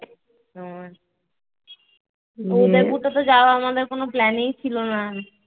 যাওয়া আমাদের কোন plan ই ছিল না